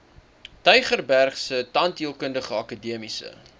tygerbergse tandheelkundige akademiese